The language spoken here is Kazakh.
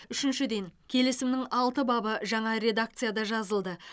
үшіншіден келісімнің алты бабы жаңа редакцияда жазылды